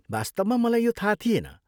वास्तवमा मलाई यो थाहा थिएन।